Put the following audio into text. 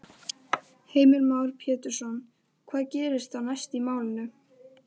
Heimir Már Pétursson: Hvað gerist þá næst í málinu?